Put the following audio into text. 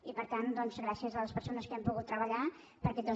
i per tant doncs gràcies a les persones que han pogut treballar per aquests dos dictàmens